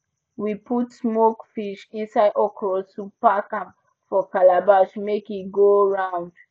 we put smoked fish inside okra soup pack am for calabash make e go round